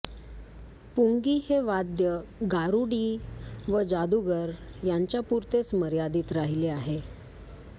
पुंगी हे वाद्य गारुडी व जादूगर यांच्यापुरतेच मर्यादित राहिले आहे